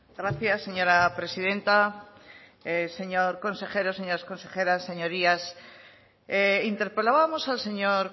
gracias señora presidenta señor consejero señoras consejeras señorías interpelábamos al señor